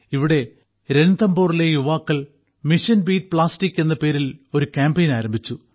ഇവിടെ രൺതംബോറിലെ യുവാക്കൾ മിഷൻ ബീറ്റ് പ്ലാസ്റ്റിക് എന്ന പേരിൽ ഒരു കാമ്പയിൻ ആരംഭിച്ചു